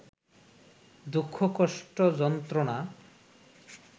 দুঃখ-কষ্ট-যন্ত্রণা